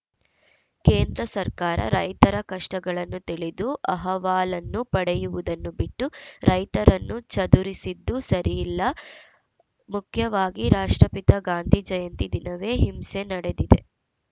ಕೇಂದ್ರ ಸರ್ಕಾರ ರೈತರ ಕಷ್ಟಗಳನ್ನು ತಿಳಿದು ಅಹವಾಲನ್ನು ಪಡೆಯುವುದನ್ನು ಬಿಟ್ಟು ರೈತರನ್ನು ಚದುರಿಸಿದ್ದು ಸರಿಇಲ್ಲ ಮುಖ್ಯವಾಗಿ ರಾಷ್ಟ್ರಪಿತ ಗಾಂಧಿ ಜಯಂತಿ ದಿನವೇ ಹಿಂಸೆ ನಡೆದಿದೆ